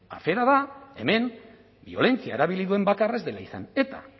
afera da hemen biolentzia erabili duen bakarra ez dela izan etak